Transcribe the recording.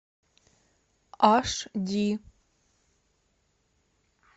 аш ди